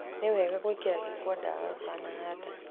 Ni wega gwĩkĩra gĩkwa ndawa ũtanahanda.